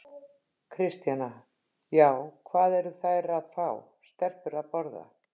Kristjana: Já, hvað eru þær að fá, stelpur að borða?